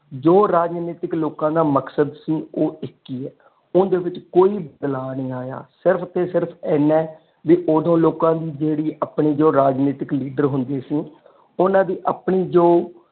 ਜੋ ਰਾਜਨੀਤਿਕ ਲੋਕਾਂ ਦਾ ਮਕਸਦ ਸੀ ਉਹ ਇਕ ਹੀ ਹੈ ਉਂਦੇ ਵਿਚ ਕੋਈ ਦਲਾਂ ਨੀ ਆਯਾ ਸਿਰਫ ਤੇ ਸਿਰਫ ਐਨਾ ਹੈ ਵੀ ਓਦੋਂ ਲੋਕ ਦੀ ਜਿਹੜੀ ਆਪਣੀ ਰਾਜਨੀਤਿਕ ਲੀਡਰ ਹੁੰਦੀ ਸੀ ਓਨਾ ਦੀ ਆਪਣੀ ਜੋ।